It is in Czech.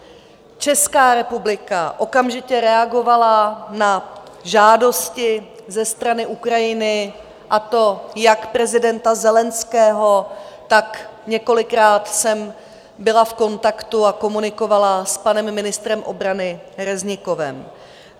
Česká republika okamžitě reagovala na žádosti ze strany Ukrajiny, a to jak prezidenta Zelenského, tak několikrát jsem byla v kontaktu a komunikovala s panem ministrem obrany Reznikovem.